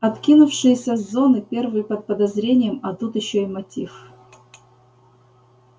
откинувшиеся с зоны первые под подозрением а тут ещё и мотив